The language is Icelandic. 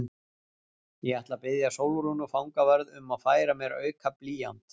Ég ætla að biðja Sólrúnu fangavörð um að færa mér auka blýant.